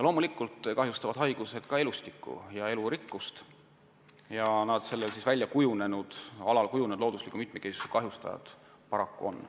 Loomulikult kahjustavad haigused ka elustikku ja elurikkust, looduslikku mitmekesisust.